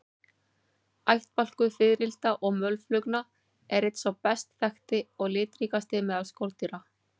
Ættbálkur fiðrilda og mölflugna er einn sá best þekkti og litríkasti meðal skordýra.